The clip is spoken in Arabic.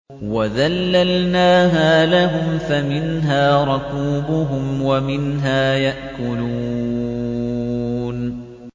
وَذَلَّلْنَاهَا لَهُمْ فَمِنْهَا رَكُوبُهُمْ وَمِنْهَا يَأْكُلُونَ